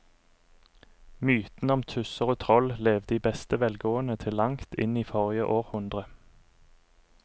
Mytene om tusser og troll levde i beste velgående til langt inn i forrige århundre.